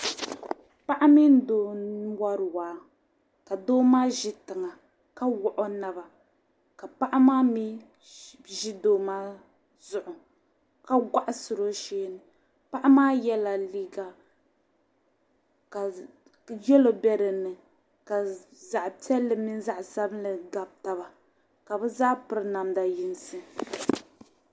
Paɣa mini doo n wari waa, ka doo maa ʒi tiŋa ka wuɣi ɔ naba ka paɣa maa mi ʒi doo maa zuɣu ka yiɣisiri ɔ sheeni, paɣi maa yela liiga ka yelɔw be dini ka zaɣipiɛli mini zaɣi sabinli gabi taba, ka bɛ zaa piri namda yiŋsi.